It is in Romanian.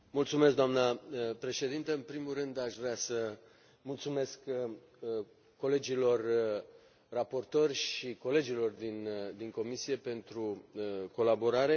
Doamnă președintă, în primul rând aș vrea să mulțumesc colegilor raportori și colegilor din comisie pentru colaborare.